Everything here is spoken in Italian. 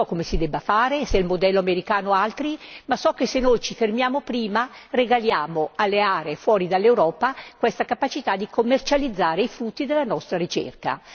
Non so come si debba fare, se copiare il modello americano o altri, ma so che se noi ci fermiamo prima, regaliamo alle aree extraeuropee questa capacità di commercializzare i frutti della nostra ricerca.